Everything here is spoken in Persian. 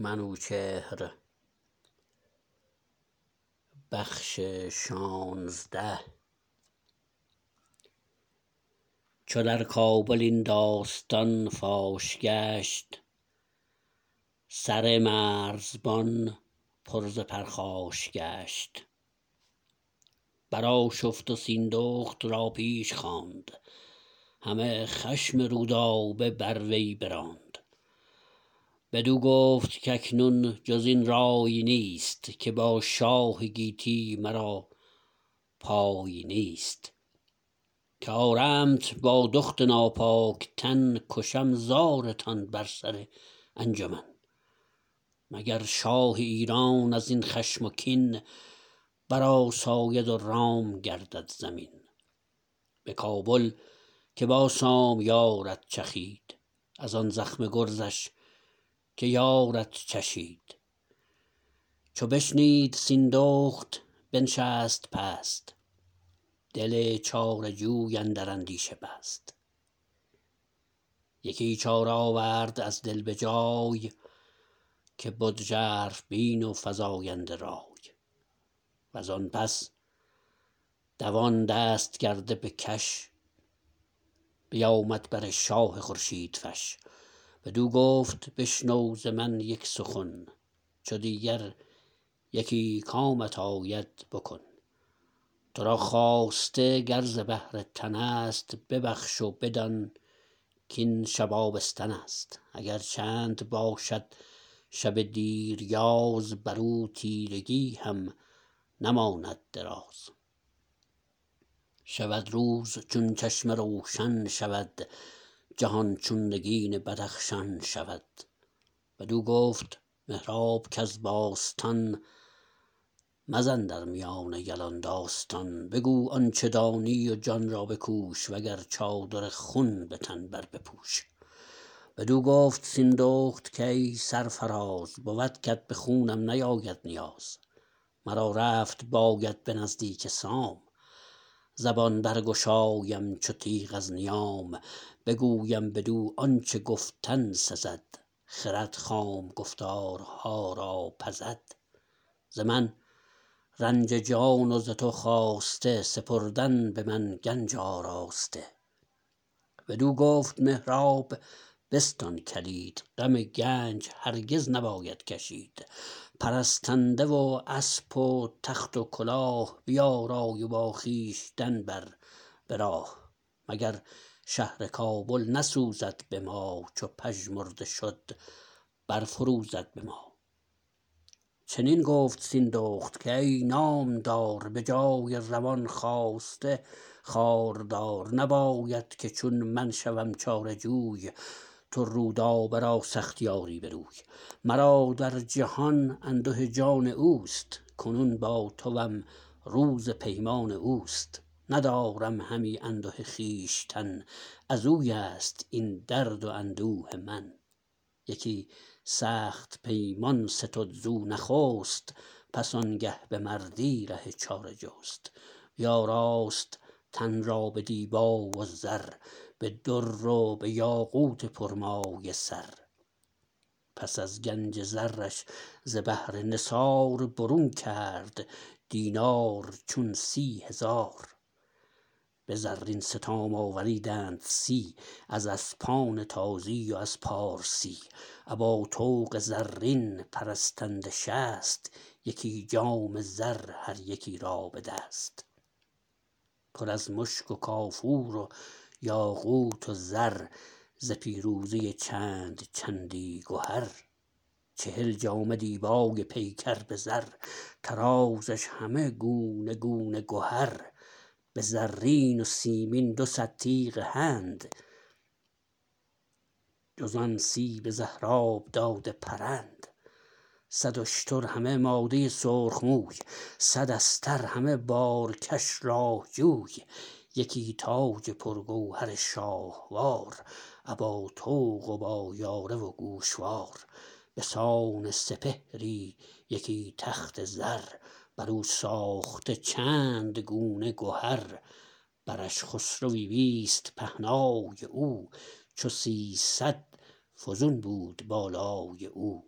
چو در کابل این داستان فاش گشت سر مرزبان پر ز پرخاش گشت برآشفت و سیندخت را پیش خواند همه خشم رودابه بر وی براند بدو گفت کاکنون جزین رای نیست که با شاه گیتی مرا پای نیست که آرمت با دخت ناپاک تن کشم زارتان بر سر انجمن مگر شاه ایران ازین خشم و کین برآساید و رام گردد زمین به کابل که با سام یارد چخید ازان زخم گرزش که یارد چشید چو بشنید سیندخت بنشست پست دل چاره جوی اندر اندیشه بست یکی چاره آورد از دل به جای که بد ژرف بین و فزاینده رای وزان پس دوان دست کرده به کش بیامد بر شاه خورشید فش بدو گفت بشنو ز من یک سخن چو دیگر یکی کامت آید بکن ترا خواسته گر ز بهر تنست ببخش و بدان کین شب آبستنست اگر چند باشد شب دیریاز برو تیرگی هم نماند دراز شود روز چون چشمه روشن شود جهان چون نگین بدخشان شود بدو گفت مهراب کز باستان مزن در میان یلان داستان بگو آنچه دانی و جان را بکوش وگر چادر خون به تن بر بپوش بدو گفت سیندخت کای سرفراز بود کت به خونم نیاید نیاز مرا رفت باید به نزدیک سام زبان برگشایم چو تیغ از نیام بگویم بدو آنچه گفتن سزد خرد خام گفتارها را پزد ز من رنج جان و ز تو خواسته سپردن به من گنج آراسته بدو گفت مهراب بستان کلید غم گنج هرگز نباید کشید پرستنده و اسپ و تخت و کلاه بیارای و با خویشتن بر به راه مگر شهر کابل نسوزد به ما چو پژمرده شد برفروزد به ما چنین گفت سیندخت کای نامدار به جای روان خواسته خواردار نباید که چون من شوم چاره جوی تو رودابه را سختی آری به روی مرا در جهان انده جان اوست کنون با توم روز پیمان اوست ندارم همی انده خویشتن ازویست این درد و اندوه من یکی سخت پیمان ستد زو نخست پس آنگه به مردی ره چاره جست بیاراست تن را به دیبا و زر به در و به یاقوت پرمایه سر پس از گنج زرش ز بهر نثار برون کرد دینار چون سی هزار به زرین ستام آوریدند سی از اسپان تازی و از پارسی ابا طوق زرین پرستنده شست یکی جام زر هر یکی را به دست پر از مشک و کافور و یاقوت و زر ز پیروزه چند چندی گهر چهل جامه دیبای پیکر به زر طرازش همه گونه گونه گهر به زرین و سیمین دوصد تیغ هند جزان سی به زهراب داده پرند صد اشتر همه ماده سرخ موی صد استر همه بارکش راه جوی یکی تاج پرگوهر شاهوار ابا طوق و با یاره و گوشوار بسان سپهری یکی تخت زر برو ساخته چند گونه گهر برش خسروی بیست پهنای او چو سیصد فزون بود بالای او